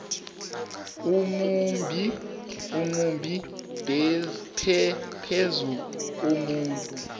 omumbi phezu komuntu